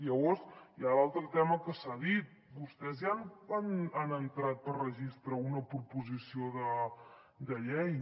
llavors hi ha l’altre tema que s’ha dit vostès ja han entrat per registre una proposició de llei